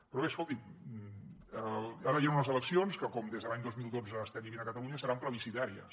però bé escolti’m ara hi han unes eleccions que com des de l’any dos mil dotze estem vivint a catalunya seran plebiscitàries